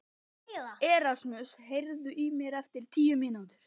Erasmus, heyrðu í mér eftir tíu mínútur.